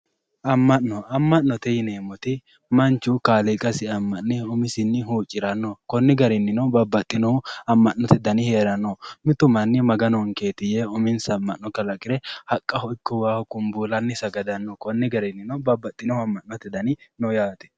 Ama'no, ama'note yineemmoti manchu kaaliiqasi ama'ne umisinni huuccirano konni garininno babbaxino ama'note danni heerano, mitu manni Maganonketi yee uminsa ama'no kalaqire haqqaho ikko waaho kumbullanni sagadano konni garinino babbaxino ama'note danni no yaate.